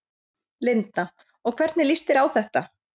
Linda: Og hvernig lýst þér á þetta?